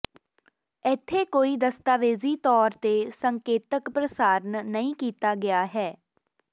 ਇੱਥੇ ਕੋਈ ਦਸਤਾਵੇਜ਼ੀ ਤੌਰ ਤੇ ਸੰਕੇਤਕ ਪ੍ਰਸਾਰਣ ਨਹੀਂ ਕੀਤਾ ਗਿਆ ਹੈ